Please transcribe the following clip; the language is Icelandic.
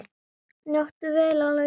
Njóttu vel Ólafía!